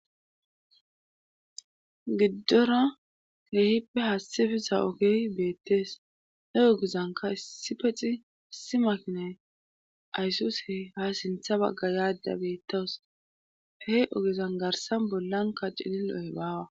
giddora jeehippe haassifesa ogey beettees he ogezanka issi pexi issi makinay aysus he ha sintha bagga yaadda beettawus he ogezan garsan bollanka cililohe baawa